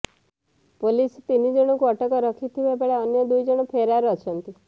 police ତିନି ଜଣଙ୍କୁ ଅଟକ ରଖିଥିବା ବେଳେ ଅନ୍ୟ ଦୁଇ ଜଣ ଫେରାର୍ ଅଛନ୍ତି